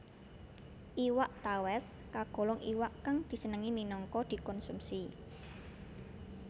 Iwak tawès kagolong iwak kang disenengi minangka dikonsumsi